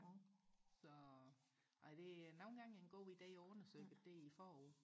så nej det er nogen gange en god ide og undersøge det forud